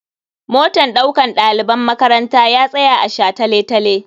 Motan ɗaukan ɗaliban makaranta ya tsaya a shataletale.